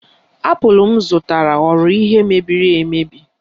Apụl m zụtara ghọrọ ihe mebiri emebi